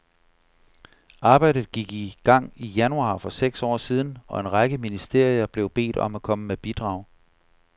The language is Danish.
Arbejdet gik i gang i januar for seks år siden, og en række ministerier blev bedt om at komme med bidrag.